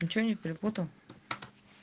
ни че не перепутал